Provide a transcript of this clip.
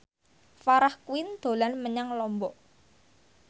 Farah Quinn dolan menyang Lombok